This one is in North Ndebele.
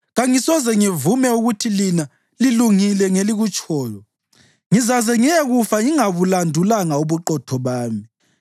Kangisoze ngivume ukuthi lina lilungile ngelikutshoyo; ngizaze ngiyekufa ngingabulandulanga ubuqotho bami.